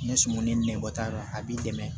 Ni sumuni nɛbɔ t'a la a b'i dɛmɛ